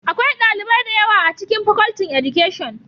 Akwai dalibai da yawa a cikin Facultin Education